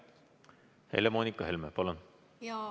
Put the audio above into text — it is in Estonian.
Helle-Moonika Helme, palun!